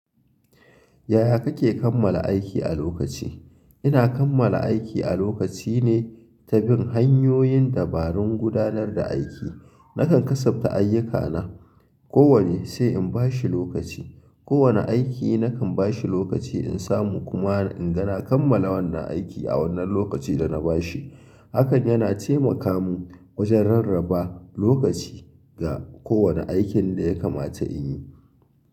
Yaya kake kammala aiki a lokaci? Ina kammala aiki a lokaci ne ta bin hanyoyin dabarun gudanar da aiki. Nakan kasabta ayyukana, kowanne sai in bashi lokaci. Kowanne aiki nakan bashi lokaci in samu kuma in ga na kammala wannan aiki a wannan lokacin da na bashi. Hakan yana temaka min gurin rarraba lokaci ga kowanne aiki.